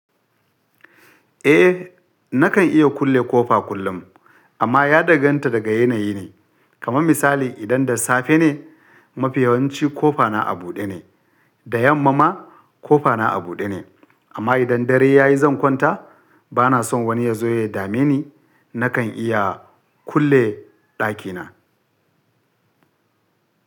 Eh nakan iya kulle ƙofa kullum amma ya danganta daga yanayi ne, kaman misali idan da safe ne mafi yawanci ƙofa na a buɗe ne, da yamma ma ƙofa na a buɗe ne amma idan dare yayi zan kwanta bana son wani ya zo ya dame ni nakan iya kulle dakina.